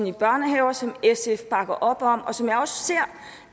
i børnehaver som sf bakker op om og som jeg også ser